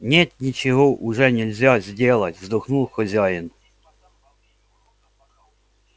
нет ничего уже нельзя сделать вздохнул хозяин